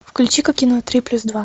включи ка кино три плюс два